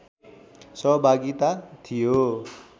सहभागिता थियो